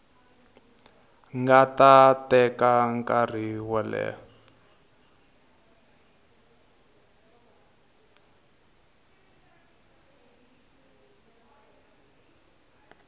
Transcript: nga teka nkarhi wo leha